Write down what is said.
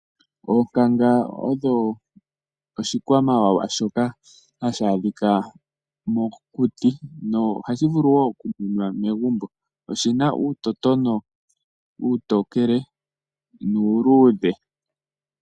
Oonkanga odho oshikwamawawa shoka hashi adhika mokuti. No hashi vulu wo oku munwa megumbo. oshina uutotono uutokele nuuludhe.